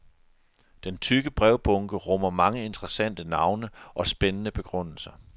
Den tykke brevbunke rummer mange interessante navne og spændende begrundelser.